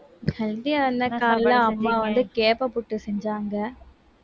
healthy ஆ அம்மா வந்து கேப்பை புட்டு செஞ்சாங்க